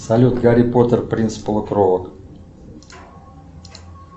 салют гарри поттер принц полукровок